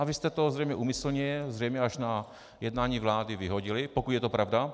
A vy jste to zřejmě úmyslně, zřejmě až na jednání vlády vyhodili, pokud je to pravda.